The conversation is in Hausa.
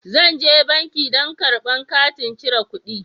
Zan je banki don karba katin cire kuɗi.